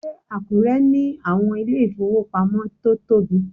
Ṣé Àkúrẹ́ ní àwọn ilé ìfowópamọ́ tó tóbi?